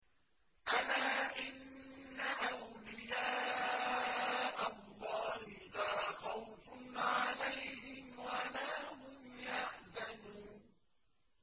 أَلَا إِنَّ أَوْلِيَاءَ اللَّهِ لَا خَوْفٌ عَلَيْهِمْ وَلَا هُمْ يَحْزَنُونَ